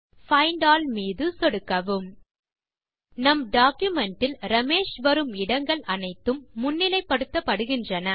find all மீது சொடுக்கவும் நம் டாக்குமென்ட் இல் ரமேஷ் வரும் இடங்கள் அனைத்தும் முன்னிலைப்படுத்தப்படுகின்றன